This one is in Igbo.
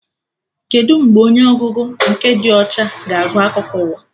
Kedụ mgbe onye ọgụgụ nke dị ọcha ga-agụ akụkọ ụwa?